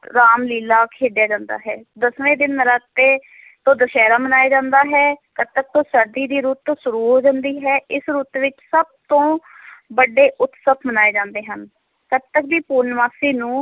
ਰਾਮ ਲੀਲ੍ਹਾ ਖੇਡਿਆ ਜਾਂਦਾ ਹੈ, ਦਸਵੇਂ ਦਿਨ ਨੌਰਾਤੇ ਤੋਂ ਦੁਸਹਿਰਾ ਮਨਾਇਆ ਜਾਂਦਾ ਹੈ, ਕੱਤਕ ਤੋਂ ਸਰਦੀ ਦੀ ਰੁੱਤ ਸ਼ੁਰੂ ਹੁੰਦੀ ਹੈ, ਇਸ ਰੁੱਤ ਵਿੱਚ ਸਭ ਤੋਂ ਵੱਡੇ ਉਸਤਵ ਮਨਾਏ ਜਾਂਦੇ ਹਨ, ਕੱਤਕ ਦੀ ਪੂਰਨਮਾਸ਼ੀ ਨੂੰ,